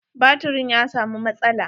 Baturin ya samu matsala.